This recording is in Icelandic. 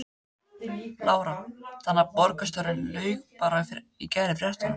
Lára: Þannig að borgarstjóri laug bara í gær í fréttum?